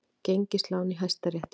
Gengislán í Hæstarétti